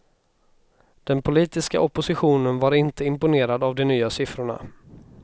Den politiska oppositionen var inte imponerad av de nya siffrorna.